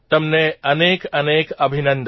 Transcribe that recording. તમને અનેક અનેક અભિનંદન